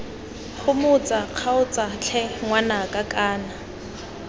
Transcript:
gomotsa kgaotsa tlhe ngwanaka kana